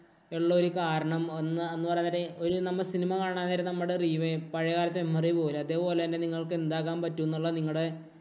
ഒള്ള ഒരു കാരണം എന്ന് പറയുന്നൊരു ഒരു നമ്മ cinema കാണാന്‍ നേരം നമ്മടെ പഴയ കാലത്തെ memory പോകൂലെ. അതേപോലെ തന്നെ നിങ്ങള്‍ക്ക് എന്താകാന്‍ പറ്റുമെന്നുള്ള നിങ്ങടെ